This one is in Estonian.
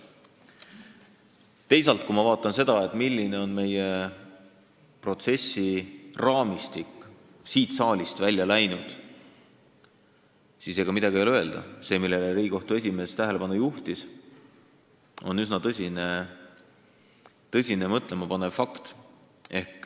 Teisalt, kui ma vaatan seda, milline on siit saalist välja läinud protsessiraamistik, siis ega midagi ei ole öelda – see, millele Riigikohtu esimees tähelepanu juhtis, on üsna tõsiselt mõtlema panev fakt.